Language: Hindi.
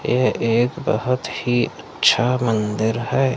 यह एक बहोत ही अच्छा मंदिर है।